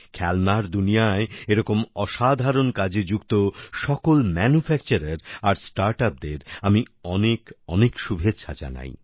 খেলনার দুনিয়ায় এরকম অসাধারণ কাজে যুক্ত সকল ম্যানুফ্যাকচারার আর স্টার্টআপ দের আমি অনেক অনেক শুভেচ্ছা জানাই